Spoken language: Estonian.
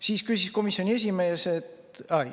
Siis küsis komisjoni esimees …